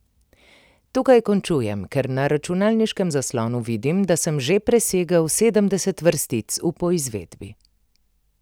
Tukaj končujem, ker na računalniškem zaslonu vidim, da sem že presegel sedemdeset vrstic v poizvedbi.